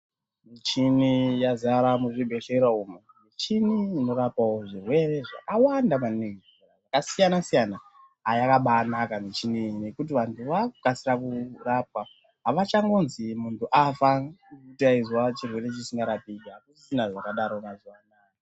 Michini yazara muzvibhedhlera umu michini inorapa zvirwere zvakawanda maningi zvakasiyana siyana haa yakabanaka ngekuti vantu vakukasira kurapwa avachangonzi muntu afa anga achinzwa chirwere chisingarapiki akusisina zvakadaro mazuva anawa.